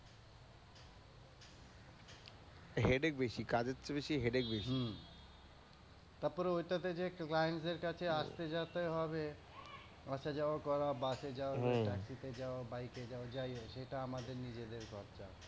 headache বেশি কাজের থেকে বেশি headache বেশি। তারপরে ঐ টা তে যে client এর কাছে আসতে যেতে হবে, আসা যাওয়া করা বাসে ট্যাক্সি তে যাও, বাইক এ যাও যাই হোক সেটা আমাদের নিজেদের খরচা।